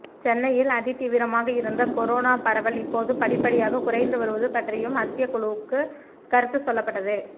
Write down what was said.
சென்னையில் அதிதீவிரமாக இருந்த கொரோனா பரவல் இப்போது படிப்படியாக குறைந்து வருவது பற்றியும் மத்திய குழுவுக்கு கருத்து சொல்லப்பட்டது